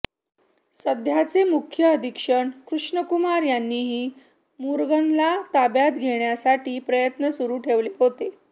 सध्याचे मुख्य अधीक्षक कृष्णकुमार यांनीही मुरगनला ताब्यात घेण्यासाठी प्रयत्न सुरू ठेवले होते